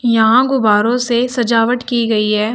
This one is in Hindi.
यहां गुब्बारों से सजावट की गई है।